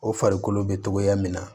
O farikolo bɛ togoya min na